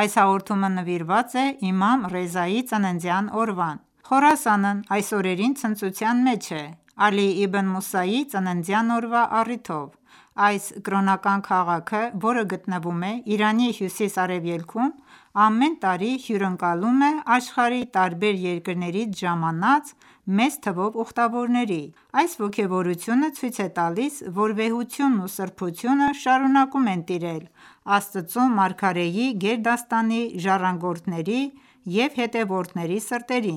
Այս հաղորդումը նվիրված է իմամ Ռեզայի ծննդյան օրվան: Խորասանն այս օրերին ցնծության մեջ է՝ Ալի Իբն Մուսայի ծննդյան օրվա առիթով: Այս կրոնական քաղաքը, որը գտնվում է Իրանի հյուսիս-արևելքում, ամեն տարի հյուրընկալում է աշխարհի տարբեր երկրներից ժամանած մեծ թվով ուխտավորների: Այս ոգևորությունը ցույց է տալիս, որ վեհությունն ու սրբությունը շարունակում են տիրել Աստծու մարգարեի գերդաստանի ժառանգորդների ու հետևորդների սրտերին: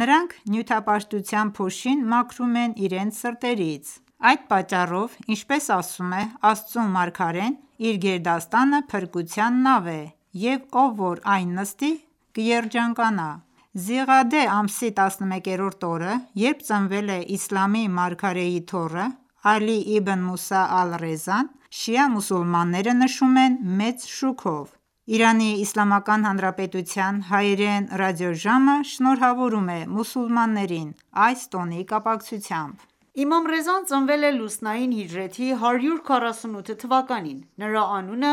Նրանք նյութապաշտության փոշին մաքրում են իրենց սրտերից: Այդ պատճառով, ինչպես ասում է Աստծու մարգարեն, իր գերդաստանը փրկության նավ է, և ով որ այն նստի, կերջանկանա: Զիղադե ամսի 11-րդ օրը, երբ ծնվել է իսլամի մարգարեի թոռը՝ Ալի Իբն Մուսա ալ-Ռեզան, շիա մուսուլմանները նշում են մեծ շուքով: Իրանի հայերեն ռադիոժամը շնորհավորում է մուսուլմաններին ՝ այս տոնի կապակցությամբ: Իմամ Ռեզան ծնվել է լուսնային հիջրեթի 148 թ.: Նրա անունը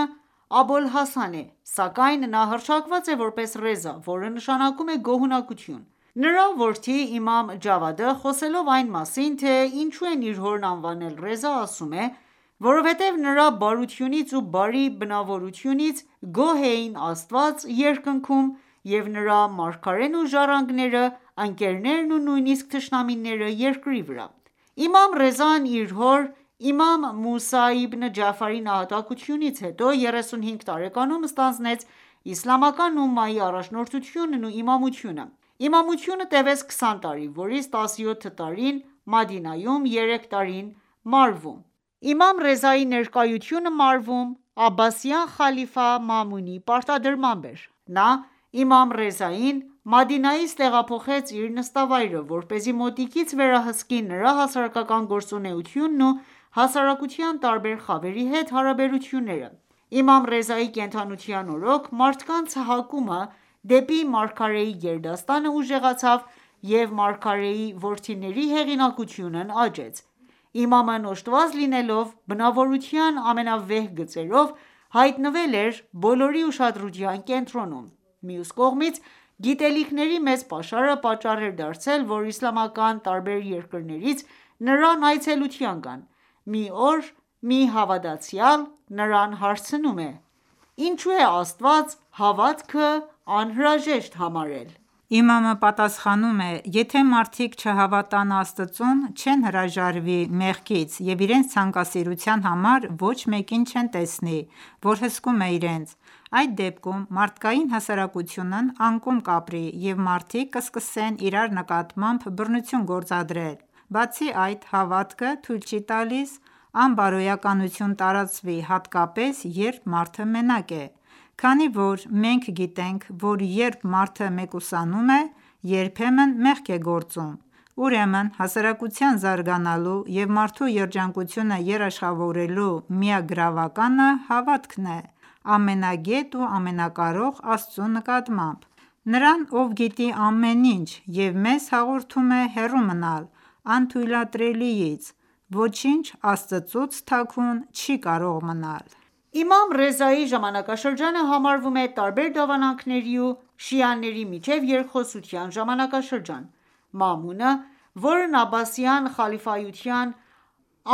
Աբոլհասան է, սակայն նա հռչակված է որպես Ռեզա, որը նշանակում է գոհունակություն: Նրա որդի իմամ Ջավադը, խոսելով այն մասին, թե ինչու են իր հորն անվանել Ռեզա, ասում է. «Որովհտեև նրա բարությունից ու բարի բնավորությունից գոհ էին Աստված՝ երկնքում և նրա մարգարեն ու ժառանգները, ընկերներն ու նույնիսկ թշնամիները՝ երկրի վրա»: Իմամ Ռեզան իր հոր՝ իմամ Մուսա Իբն Ջաֆարի նահատակությունից հետո, 35 տարեկանում ստանձնեց իսլամական ումմայի առաջնորդությունն ու իմամությունը: Իմամությունը տևեց 20 տարի, որից 17 տարին Մադինայում, երեք տարին՝ Մարվում: Իմամ Ռեզայի ներկայությունը Մարվում, Աբբասյան խալիֆա Մամունի պարտադրմամբ էր: Նա իմամ Ռեզային Մադինայից տեղափոխեց իր նստավայրը, որպեսզի մոտիկից վերահսկի նրա հասարակական գործունեթյունն ու հասարակության տարբեր խավերի հետ հարաբերությունները: Իմամ Ռեզայի կենդանության օրոք, մարդկանց հակումը դեպի մարգարեի գերդաստանը ուժեղացավ և մարգարեի որդիների հեղինակությունն աճեց: Իմամն օժտված լինելով բնավորության ամենավեհ գծերով, հայտնվել էր բոլորի ուշադրության կենտրոնում: Մյուս կողմից, գիտելիքների մեծ պաշարը պատճառ էր դարձել, որ իսլամական տարբեր երկրներից նրան այցելության գան: Մի օր, մի հավատացյալ նրան հարցնում է. «Ինչո՞ւ է Աստված հավատքը անհրաժեշտ համարել»: Իմամը պատասխանում է. «Եթե մարդիկ չհավատան Աստծուն, չեն հրաժարվի մեղքից և իրենց ցանկասիրության համար ոչ մեկին չեն տեսնի, որ հսկում է իրենց: Այդ դեպքում, մարդկային հասարակությունն անկում կապրի և մարդիկ կսկսեն իրար նկատմամբ բռնություն գործադրել: Բացի այդ, հավատքը թույլ չի տալիս անբարոյականություն տարածվի հատկապես երբ մարդը մենակ է: Քանի որ մենք գիտենք, որ երբ մարդը մեկուսանում է, երբեմն մեղք է գործում: Ուրեմն, հասարակության զարգանալու և մարդու երջանկությունը երաշխավորելու միակ գրավականը հավատքն է՝ ամենագետ ու ամենակարող Աստծու նկատմամբ: Նրան, ով գիտի ամեն ինչ և մեզ հորդորում է հեռու մնալ անթույլատրելիից: Ոչինչ Աստծուց թաքուն չի կարող մնալ: Իմամ Ռեզայի ժամանակաշրջանը համարվում է տարբեր դավանանքերի ու շիաների միջև երկխոսության ժամանակաշրջան: Մամունը, որն Աբբասյան խալիֆայության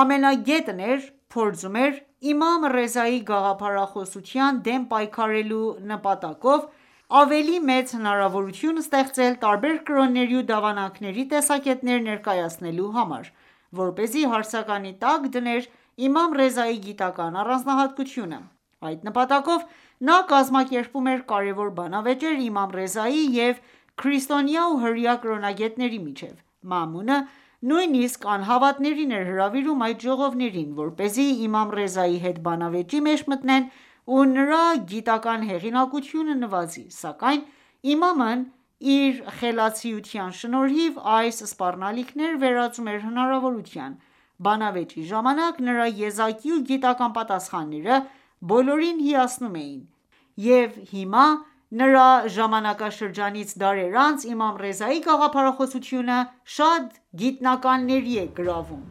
ամենագետն էր, փորձում էր իմամ Ռեզայի գաղափարախոսության դեմ պայքարելու նպատակով, ավելի մեծ հնարավորություն ստեղծել տարբեր կրոնների ու դավանանքերի տեսակետները ներկայացնելու համար, որպեսզի հարցականի տակ դներ իմամ Ռեզայի գիտական առանձնահատկությունը: Այդ նպատակով, նա կազմակերպում էր կարևոր բանավեճեր՝ իմամ Ռեզայի և քրիստոնյա ու հրեա կրոնագետների միջև: Մամունը նույնիսկ անհավատներին էր հրավիրում այդ ժողովներին, որպեսզի իմամ Ռեզայի հետ բանավեճի մեջ մտնեն ու նրա գիտական հեղինակությունը նվազի: Սակայն իմամն իր խելացիության շնորհիվ, այս սպառնալիքները վերածում էր հնարավորության: Բանավեճի ժամանակ նրա եզակի ու գիտական պատասխանները բոլորին հիացնում էին: Եվ հիմա, նրա ժամանակաշրջանից դարեր անց, իմամ Ռեզայի գաղափարախոսությունը շատ գիտնականների է գրավում: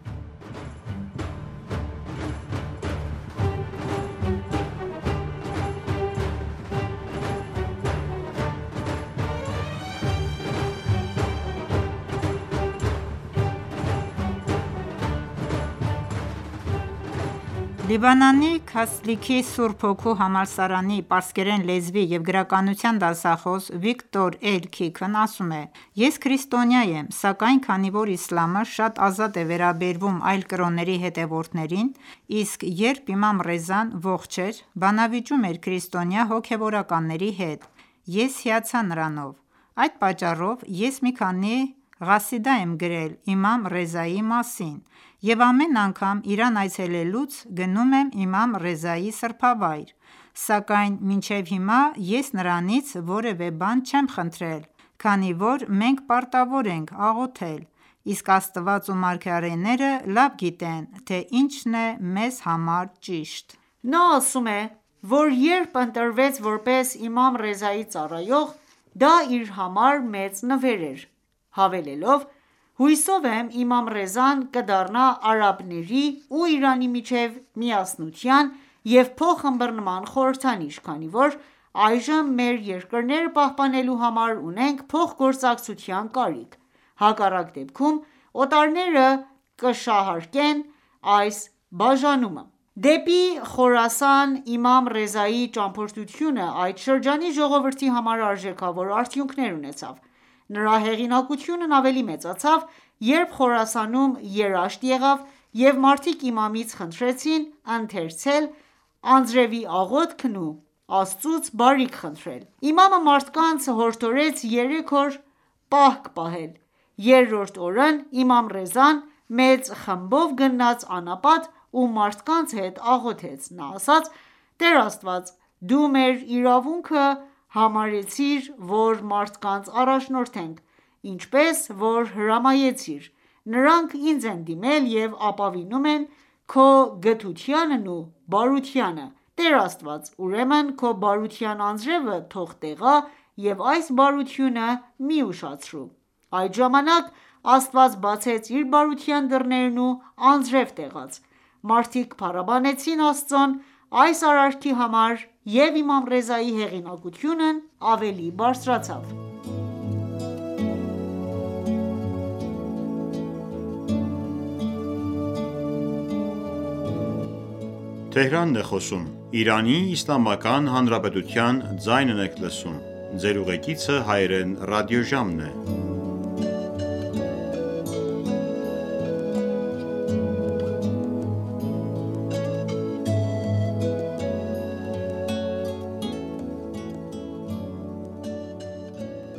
Լիբանանի Քասլիքի Սուրբ Հոգու համալսարանի պարսկերեն լեզվի և գրականության դասախոս Վիկտոր Էլ Քիքն ասում է. «Ես քրիստոնյա եմ, սակայն քանի որ իսլամը շատ ազատ է վերաբերվում այլ կրոնների հետևորդներին, իսկ երբ իմամ Ռեզան ողջ էր, բանավիճում էր քրիստոնյա հոգևորականների հետ, ես հիացա նրանով: Այդ պատճառով, ես մի քանի ղասիդա եմ գրել իմամ Ռեզայի մասին և ամեն անգամ Իրան այցելելուց գնում եմ իմամ Ռեզայի սրբավայր: Սակայն մինչև հիմա ես նրանից որևէ բան չեմ խնդրել, քանի որ մենք պարտավոր ենք աղոթել, իսկ Աստված ու մարգարեները լավ գիտեն, թե ինչն է մեզ համար ճիշտ»: Նա ասում է, որ երբ ընտրվեց որպես իմամ Ռեզայի ծառայող, դա իր համար մեծ նվեր էր, հավելելով. «Հուսով եմ, իմամ Ռեզան կդառնա արաբների ու Իրանի միջև միասնության և փոխըմբռնման խորհրդանիշ, քանի որ այժմ մեր երկրները պահպանելու համար ունենք փոխգործակցության կարիք: Հակառակ դեպքում, օտարները կշահարկեն այս բաժանումը»: Դեպի Խորասան իմամ Ռեզայի ճամփորդությունը այդ շրջանի ժողովրդի համար արժեքավոր արդյունքներ ունեցավ: Նրա հեղինակությունն ավելի մեծացավ, երբ Խորասանում երաշտ եղավ և մարդիկ իմամից խնդրեցին ընթերցել անձրևի աղոթքն ու Աստծուց բարիք խնդրել: Իմամը մարդկանց հորդորեց երեք օր պահք պահել: Երրորդ օրն իմամ Ռեզան մեծ խմբով գնաց անապատ ու մարդկանց հետ աղոթեց: Նա ասաց. «Տեր Աստված, Դու մեր իրավունքը համարեցիր, որ մարդկանց առաջնորդենք: Ինչպես որ հրամայեցիր, նրանք ինձ են դիմել և ապավինում են քո գթությանն ու բարությանը: Տեր Աստված, ուրեմն քո բարության անձրևը թող տեղա և այս բարությունը մի ուշացրու: Այդ ժամանակ Աստված բացեց իր բարության դռներն ու անձրև տեղաց: Մարդիկ փառաբանեցին Աստծուն այս արարքի համար և իմամ Ռեզայի հեղինակությունն ավելի բարձրացավ: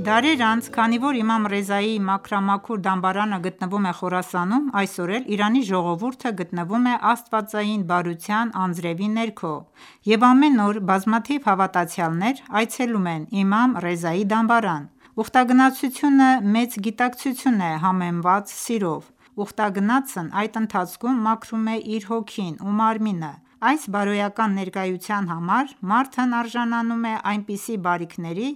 Դարեր անց, քանի որ իմամ Ռեզայի մաքրամաքուր դամբարանը գտնվում է Խորասանում, այսօր էլ Իրանի ժողովուրդը գտնվում է աստվածային բարության անձրևի ներքո և ամեն օր բազմաթիվ հավատացյալներ այցելում են իմամ Ռեզայի դամբարան: Ուխտագնացությունը մեծ գիտակցություն է՝ համեմված սիրով: Ուխտագնացն այդ ընթացքում մաքրում է իր հոգին ու մարմինը: Այս բարոյական ներկայության համար մարդն արժանանում է այնպիսի բարիքների,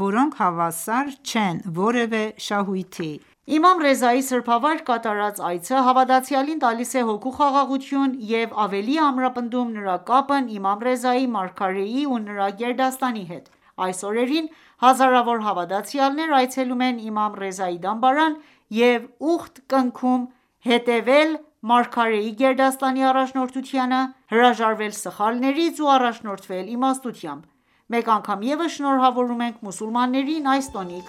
որոնք հավասար չեն որևէ շահույթի: Իմամ Ռեզայի սրբավայր կատարած այցը հավատացյալին տալիս է հոգու խաղաղություն և ավելի է ամրապնդում նրա կապն իմամ Ռեզայի, մարգարեի ու նրա գերդաստանի հետ: Այս օրերին հազարավոր հավատացյալներ այցելում են իմամ Ռեզայի դամբարան և ուխտ կնքում՝ հետևել մարգարեի գերդաստանի առաջնորդությանը, հրաժարվել սխալներից ու առաջնորդվել իմաստությամբ: Մեկ անգամ ևս շնորհավորում ենք մուսուլմաններին այս տոնի